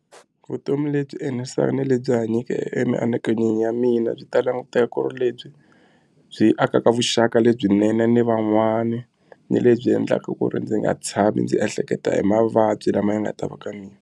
Vutomi lebyi enerisaka ni lebyi hanyake emianakanyweni ya mina byi ta languteka ku ri lebyi byi akaka vuxaka lebyinene ni van'wana ni lebyi endlaka ku ri ndzi nga tshami ndzi ehleketa hi mavabyi lama ya nga ta va ka mina.